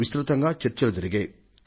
విస్తృతంగా చర్చలు జరిగాయి